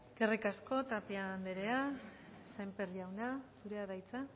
eskerrik asko tapia andrea sémper jauna zurea da hitza